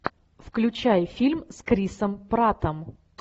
включай фильм с крисом праттом